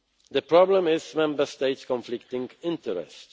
The problem is Member States' conflicting interests.